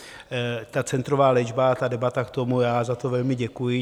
Ta centrová léčba a debata k tomu - já za to velmi děkuji.